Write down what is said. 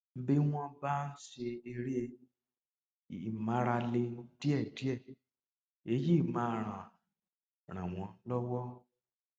bí wọn bá ń ṣe eré ìmárale díẹdíẹ èyí máa ràn ràn wọn lọwọ